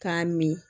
Taa mi